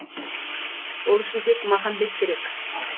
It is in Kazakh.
ол үшін тек махамбет керек